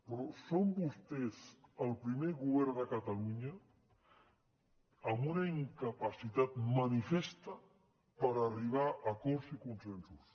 però són vostès el primer govern de catalunya amb una incapacitat manifesta per arribar a acords i consensos